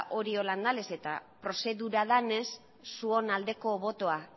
hori horrela da nahiz eta prozedura denez zuon aldeko botoa